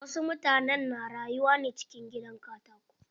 Wasu mutanen na rayuwa ne cikin gidan katako.